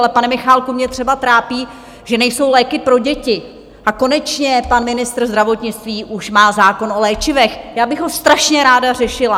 Ale pane Michálku, mě třeba trápí, že nejsou léky pro děti, a konečně pan ministr zdravotnictví už má zákon o léčivech, já bych ho strašně ráda řešila.